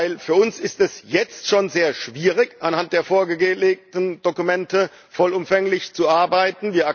Denn für uns ist es jetzt schon sehr schwierig, anhand der vorgelegten Dokumente vollumfänglich zu arbeiten.